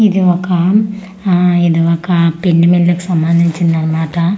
ఇది ఒక ఆ ఇది ఒక పిండి మిల్ కి సంబండించింది అన్నమాట ఎవ--